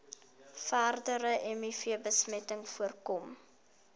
verdere mivbesmetting voorkom